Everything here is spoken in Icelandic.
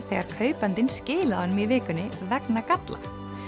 þegar kaupandinn skilaði honum í vikunni vegna galla